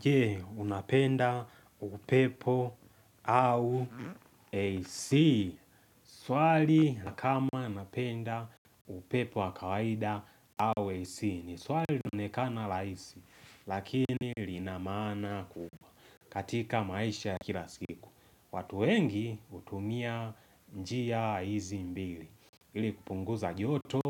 Je, unapenda upepo au AC. Swali na kama anapenda upepo wa kawaida au AC. Ni swali linaonekana laisi, lakini lina maana kubwa katika maisha ya kila siku. Watu wengi hutumia njia hizi mbili. Ili kupunguza joto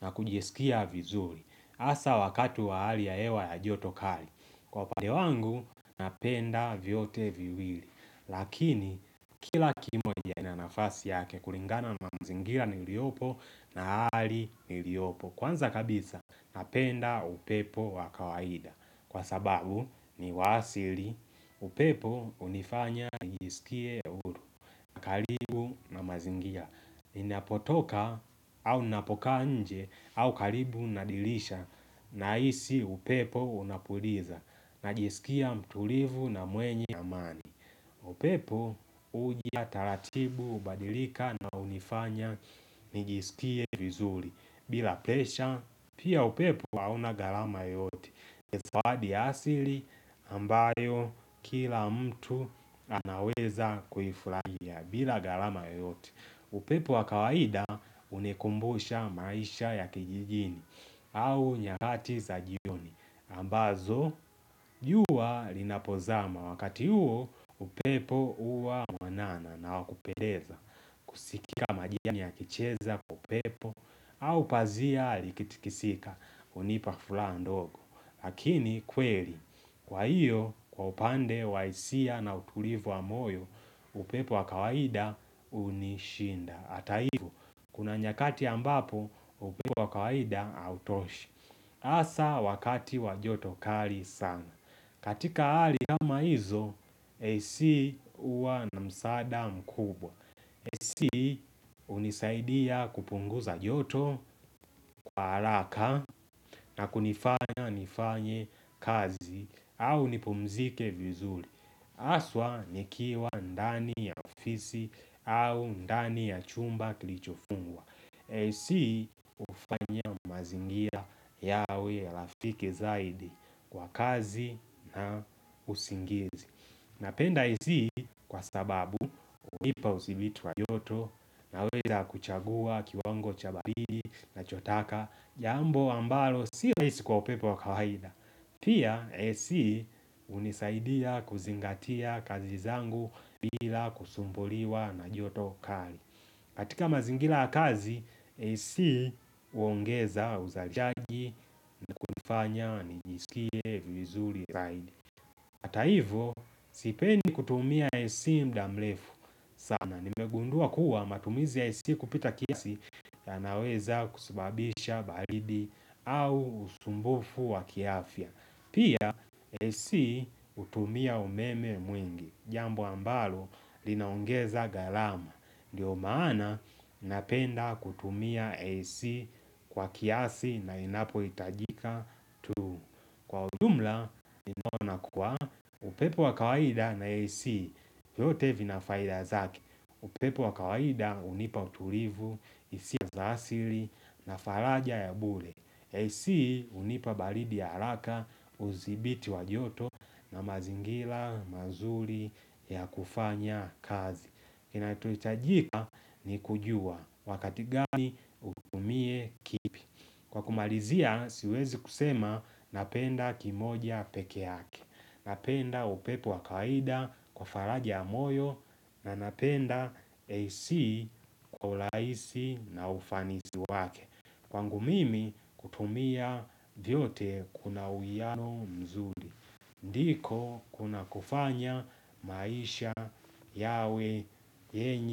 na kujisikia vizuri. Asa wakati wa hali ya hewa ya joto kari. Kwa upande wangu napenda vyote viwili Lakini kila kimoja na nafasi yake kulingana na mazingira niliopo na hali niliopo Kwanza kabisa napenda upepo wa kawaida Kwa sababu ni wa asili upepo hunifanya nijisikie uhuru, karibu na mazingira ninapotoka au ninapokaa nje au karibu na dirisha nahisi upepo unapuliza Najisikia mtulivu na mwenye amani upepo huja taratibu, hubadilika na hunifanya nijisikie vizuri bila presha, pia upepo hauna gharama yoyote ni zawadi ya asili ambayo kila mtu anaweza kuifurahia bila gharama yoyote upepo wa kawaida hunikumbusha maisha ya kijijini au nyakati za jioni ambazo jua linapozama wakati huo upepo huwa mwanana na wa kupendeza kusikika majirani akicheza kwa upepo au pazia likitikisika hunipa furaha ndogo lakini kweli kwa hiyo kwa upande wa hisia na utulivu wa moyo upepo wa kawaida hunishinda hata hivyo kuna nyakati ambapo upepo wa kawaida hautoshi Hasa wakati wa joto kali sana. Katika hali kama hizo, AC huwa na msaada mkubwa. AC hunisaidia kupunguza joto kwa haraka na kunifanya nifanye kazi au nipumzike vizuri. Haswa nikiwa ndani ya ofisi au ndani ya chumba kilichofungwa AC hufanya mazingira yawe ya rafiki zaidi kwa kazi na usingizi. Napenda AC kwa sababu hunipa udhibiti wa joto naweza kuchagua kiwango cha baridi nachotaka jambo ambalo si rahisi kwa upepo wa kawaida. Pia, AC hunisaidia kuzingatia kazi zangu bila kusumbuliwa na joto kali katika mazingira ya kazi, AC huongeza uzachaji na kunifanya nijisikie vizuri zaidi. Hata hivyo, sipendi kutumia AC muda mrefu. Sana, nimegundua kuwa matumizi ya AC kupita kiasi yanaweza kusababisha baridi au usumbufu wa kiafya. Pia AC hutumia umeme mwingi, jambo ambalo linaongeza gharama. Ndio maana napenda kutumia AC kwa kiasi na inapohitajika tu. Kwa ujumla, ninaona kuwa upepo wa kawaida na AC, yote vina faida zake. Upepo wa kawaida hunipa utulivu, hisia za asili na faraja ya bure. AC hunipa baridi ya haraka, uzibiti wa joto na mazingira, mazuri ya kufanya kazi. Kinachohitajika ni kujua wakati gani utumie kipi Kwa kumalizia siwezi kusema napenda kimoja pekee yake Napenda upepo wa kawaida Kwa faraja ya moyo na napenda AC kwa urahisi na ufanisi wake Kwangu mimi kutumia vyote kuna uiiano mzuri ndiko kuna kufanya maisha yawe yenye.